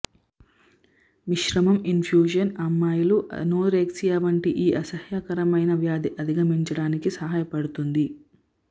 మిశ్రమం ఇన్ఫ్యూషన్ అమ్మాయిలు అనోరెక్సియా వంటి ఈ అసహ్యకరమైన వ్యాధి అధిగమించడానికి సహాయపడుతుంది